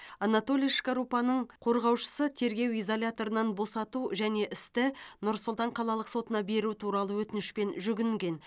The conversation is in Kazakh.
анатолий шкарупаның қорғаушысы тергеу изоляторынан босату және істі нұр сұлтан қалалық сотына беру туралы өтінішпен жүгінген